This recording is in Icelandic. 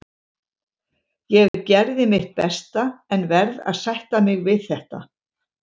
Ég gerði mitt besta en verð að sætta mig við þetta.